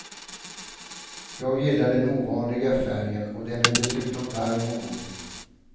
Jag gillar den ovanliga färgen, och den är dessutom varm och go.